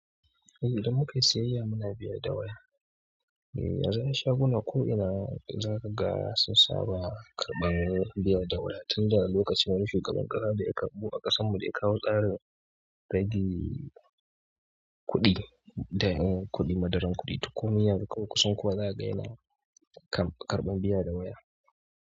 Eh idan muka yi siyayya muna biya da waya. Eh, zai sha gunan ko ina za ka ga sun saba karɓan biya da waya tun daga lokacin wani shugaban ƙasa da ya karɓo a ƙasan mu da ya kawo tsarin rage kuɗi, da yin kuɗi, madadin kuɗi. Tukumi yanzu kunsan kowa za ka ga yana karɓan biya da waya.